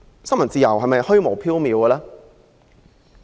新聞自由是否虛無縹緲？